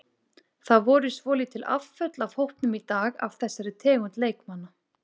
Það voru svolítil afföll af hópnum í dag af þessari tegund leikmanna.